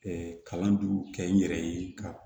kalanju kɛ n yɛrɛ ye ka